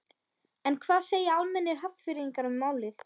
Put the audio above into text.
En hvað segja almennir Hafnfirðingar um málið?